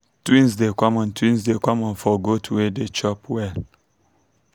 twins dey common twins dey common for goats way dey chop well.